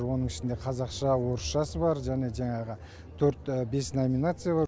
оның ішінде қазақша орысшасы бар және жаңағы төрт бес номинация бар